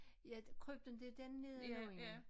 Ja krypten det er den nedenunder